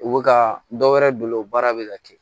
U bɛ ka dɔ wɛrɛ bolo o baara bɛ ka kɛ